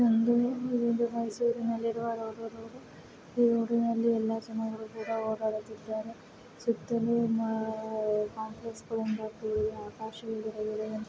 ಮೈಸೂರಿನಲ್ಲಿ ರೋಡ ಇದೆ । ಈ ರೋಡ ನಲ್ಲಿ ಸಮಯಗಳು ಕೊಡ ಹೊಗಳಿದ್ದಾರೆ ಸುತ್ತಲೂ ಕಂಪ್ಲೇಸ್ ಆಕಾಶ